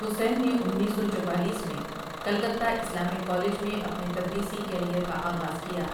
حسین نے انیس سو چوالیس میں کلکتہ اسلامک کالج میں اپنے تدریسی کیریئر کا آغاز کیا ۔